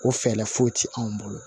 O fɛɛrɛ foyi tɛ anw bolo